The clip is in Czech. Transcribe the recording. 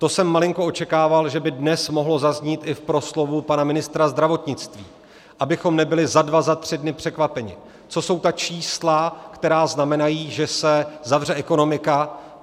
To jsem malinko očekával, že by dnes mohlo zaznít i v proslovu pana ministra zdravotnictví, abychom nebyli za dva, za tři dny překvapeni, co jsou ta čísla, která znamenají, že se zavře ekonomika.